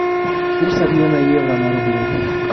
курс обмена евро на рубли